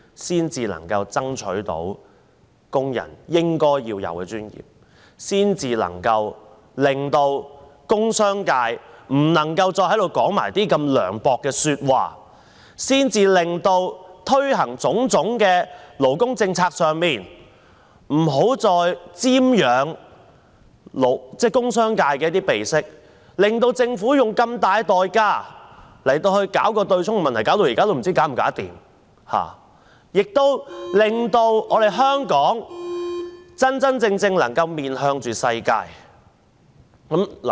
這樣才能夠爭取到工人應有的尊嚴，這樣方能阻止工商界在此說出如此涼薄的話；在推行種種勞工政策問題上，不要再瞻仰工商界的鼻息，令政府要用如此大的代價來處理強積金對沖的問題，至今也不知道問題能否解決，以及令香港能夠真真正正面向世界。